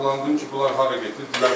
Maraqlandım ki, bunlar hara gedib?